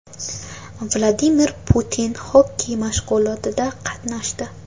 Vladimir Putin xokkey mashg‘ulotida qatnashdi .